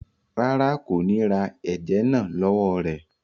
Rárá, kò ni rá èẹjẹ́ náà lọ wọ̀ rẹ.